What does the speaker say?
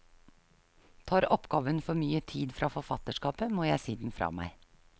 Tar oppgaven for mye tid fra forfatterskapet, må jeg si den fra meg.